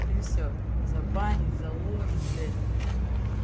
и все забанит заложит блять